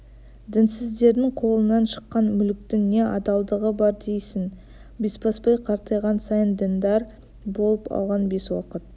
дінсіздердің қолынан шыққан мүліктің не адалдығы бар дейсің бесбасбай қартайған сайын діндар болып алған бес уақыт